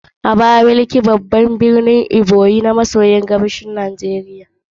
Abakaliki, garin, babban birnin jihar Ebonyi, kudu maso gabashin Najeriya.